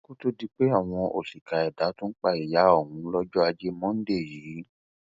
kó tóó di pé àwọn òṣìkà ẹdá tún pa ìyá òun lọjọ ajé monde yìí